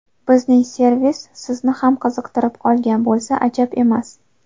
Bizning servis Sizni ham qiziqtirib qolgan bo‘lsa ajab emas.